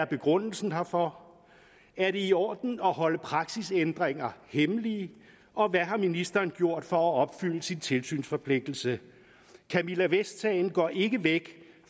begrundelsen herfor er det i orden at holde praksisændringer hemmeligt og hvad har ministeren gjort for at opfylde sin tilsynsforpligtelse camilla vest sagen går ikke væk